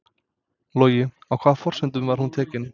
Logi: Á hvaða forsendum var hún tekin?